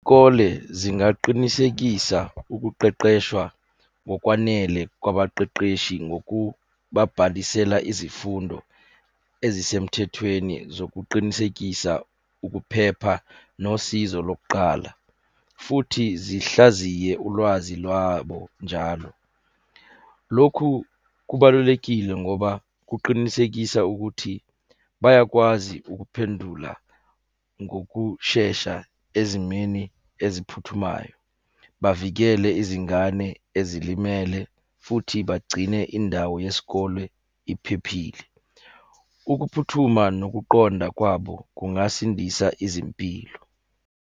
Iy'kole zingaqinisekisa ukuqeqeshwa ngokwanele kwabaqeqeshi ngokubabhalisela izifundo ezisemthethweni zokuqinisekisa ukuphepha nosizo lokuqala, futhi zihlaziye ulwazi lwabo njalo. Lokhu kubalulekile ngoba kuqinisekisa ukuthi bayakwazi ukuphendula ngokushesha ezimeni eziphuthumayo. Bavikele izingane ezilimele futhi bagcine indawo yesikole iphephile. Ukuphuthuma nokuqonda kwabo kungasindisa izimpilo.